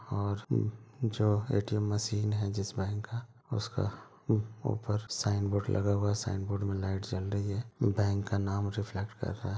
और उम जो ATM. Machine है जिस बैंक का उसका उ-ऊपर साइन बोर्ड लगा हुआ है साइन बोर्ड में लाइट जल रही है बैंक का नाम रिफ्लेक्ट कर रहा।